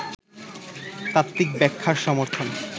তাত্ত্বিক ব্যাখ্যার সমর্থন